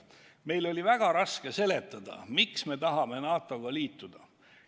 Meil oli väga raske seletada, miks me tahame NATO-ga liituda.